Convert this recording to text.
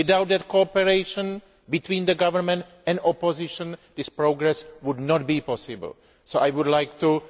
Without that cooperation between the government and opposition, this progress would not be possible. So I would like to